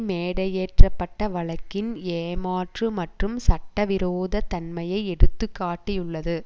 மேடையேற்றப்பட்ட வழக்கின் ஏமாற்று மற்றும் சட்டவிரோத தன்மையை எடுத்து காட்டியுள்ளது